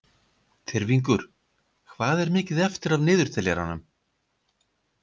Tyrfingur, hvað er mikið eftir af niðurteljaranum?